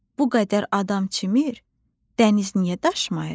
Bu qədər adam çimir, dəniz niyə daşmayır?